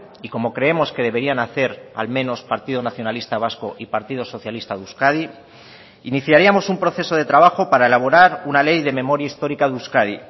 y como creemos que deberían hacer al menos partido nacionalista vasco y partido socialista de euskadi iniciaríamos un proceso de trabajo para elaborar una ley de memoria histórica de euskadi